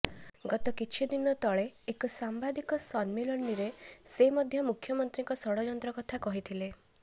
ଗତ କିଛି ଦିନ ତଳେ ଏକ ସାମ୍ବାଦିକ ସମ୍ମିଳନୀରେ ସେ ମଧ୍ୟ ମୁଖ୍ୟମନ୍ତ୍ରୀଙ୍କ ଷଡ଼ଯନ୍ତ୍ର କଥା କହିଥିଲେ